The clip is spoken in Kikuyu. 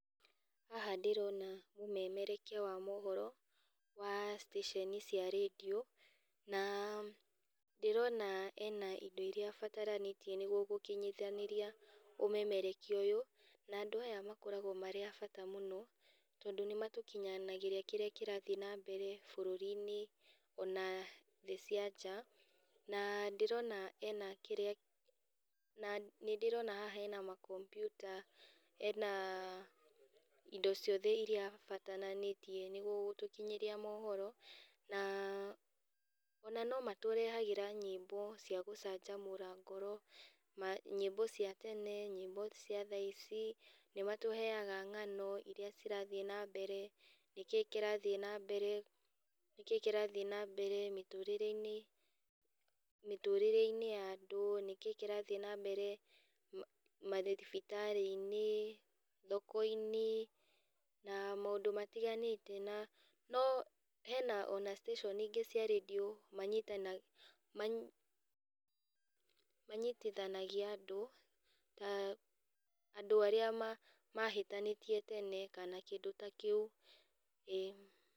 Haha ndĩrona mũmemerekia wa mohoro, wa station cia rendio, na ndĩrona ena indo iria abataranĩtie nĩguo gũkinyithanĩrĩa ũmemerekia ũyũ, na andũ aya makoragwo marĩ a bata mũno, tondũ nĩmatũkinyanagĩria kĩrĩa kĩrathiĩ nambere bũrũrini ona thĩ cia nja, na ndĩrona ena kĩrĩa na nĩdĩrona haha hena makombyuta ena indo ciothe iria abataranĩtie nĩguo gũtũkinyĩria mohoro, na ona no matũrehagĩra nyĩmbo cia gũcanjamũra ngoro, ma nyĩmbo cia tene, nyĩmbo cia thaa ici, nĩmatũheaga ng'ano iria cirathiĩ nambere, nĩkĩĩ kĩrathiĩ nambere nĩkĩĩ kĩrathiĩ nambere mĩtũrĩreinĩ, mĩtũrĩreinĩ ya andũ, nĩkĩĩ kĩrathiĩ nambere mathibitarĩinĩ, thokoinĩ, na maũndũ matiganĩte na no hena ona station ingĩ cia rendio manyita manyi manyitithanagia andũ, andũ arĩa ma mahĩtanĩtie tene kindũ ta kĩũ. Ĩĩ.